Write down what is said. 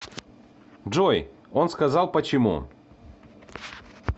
джой он сказал почему